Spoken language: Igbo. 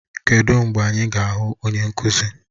Kedụ mgbe anyị ga-ahụ onye nkụzi?